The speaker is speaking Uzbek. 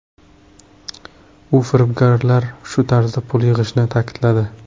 U firibgarlar shu tarzda pul yig‘ishini ta’kidladi.